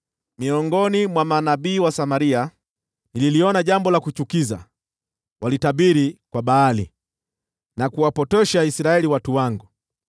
“Miongoni mwa manabii wa Samaria nililiona jambo la kuchukiza: Walitabiri kwa Baali na kuwapotosha Israeli watu wangu.